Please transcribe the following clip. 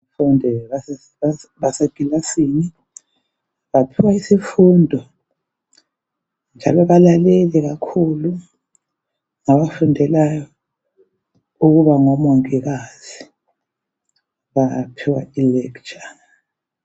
Abafundi basekilasini. Baphiwa isifundo, njalo balalele kakhulu. Bafundela ukuba ngomongikazi. Baphiwa ilecture.